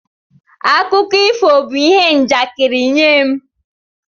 Akụkọ ifo bụ ihe njakịrị nye m.